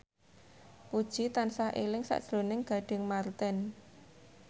Puji tansah eling sakjroning Gading Marten